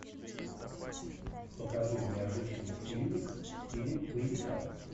покажи необычный фильмик в стиле боевика